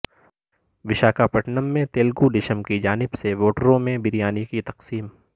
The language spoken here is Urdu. وشاکھا پٹنم میں تلگو دیشم کی جانب سے ووٹروں میں بریانی کی تقسیم